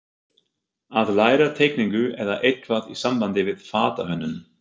Að læra teikningu eða eitthvað í sambandi við fatahönnun.